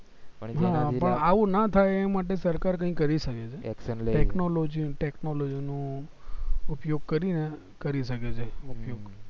પણ આવું ના થાય એ માટે સરકાર કઈ કરી શકે છે technology technology નું ઉપયોગ કરી ને કરી શકે છે ઉપયોગ